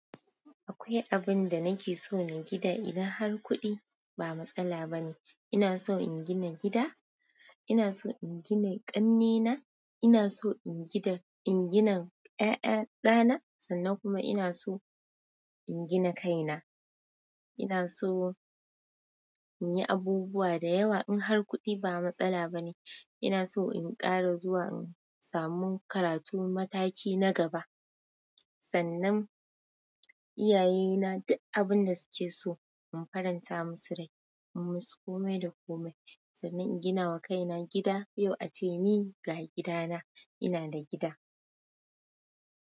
Akwai abin da nake so na gida idan har kuɗi ba matsala bane. Ina so in gina gida, ina so in gina ƙanne na, ina so in gina ƴaƴa ɗana sannan kuma ina so in gina kaina. Ina so in yi abubuwa da yawa in har kuɗi ba matsala bane. Ina so in ƙara zuwa in samu karatu mataki na gaba, sannan iyayena duk abinda suke so in faranta musu rai, in musu komai da komai sannan in ginawa kaina gida. Yau a ce ni ga gidana, ina da gida.